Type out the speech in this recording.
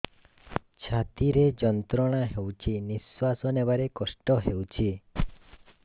ଛାତି ରେ ଯନ୍ତ୍ରଣା ହେଉଛି ନିଶ୍ଵାସ ନେବାର କଷ୍ଟ ହେଉଛି